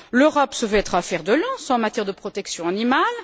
L'Europe se veut être un fer de lance en matière de protection animale.